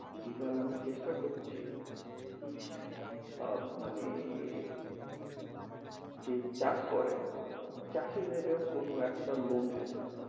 এবার আমি চেষ্টা করছি কি আহ মানে যে চাষ করে চাষের ভিতরে কোন একটা loan দিতে,